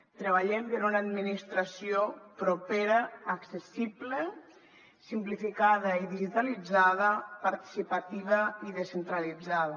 treballem per una administració propera accessible simplificada i digitalitzada participativa i descentralitzada